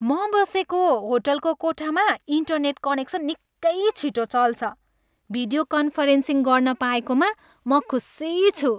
म बसेको होटलको कोठामा इन्टरनेट कनेक्सन निकै छिटो चल्छ। भिडियो कन्फरेन्सिङ गर्न पाएकोमा म खुसी छु।